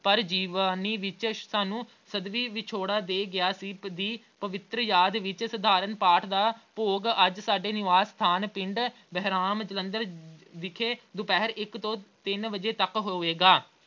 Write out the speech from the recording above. ਪਰ ਜਵਾ ਅਹ ਨੀ ਵਿੱਚ ਅਹ ਸਾਨੂੰ ਸਦੀਵੀਂ ਵਿੱਚ ਵਿਛੋੜਾ ਦੇ ਗਿਆ ਸੀ, ਦੀ ਪਵਿੱਤਰ ਯਾਦ ਵਿੱਚ ਸਧਾਰਨ ਪਾਠ ਦਾ ਭੋਗ ਅੱਜ ਸਾਡੇ ਨਿਵਾਸ ਸਥਾਨ ਪਿੰਡ ਬਹਿਰਾਮ ਜਲੰਧਰ ਅਹ ਵਿਖੇ ਦੁਪਿਹਰ ਇੱਕ ਤੋਂ ਤਿੰਨ ਵਜੇ ਤੱਕ ਹੋਵੇਗਾ।